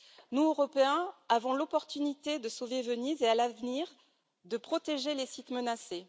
Nous, Européens, avons la possibilité de sauver Venise et, à l'avenir, de protéger les sites menacés.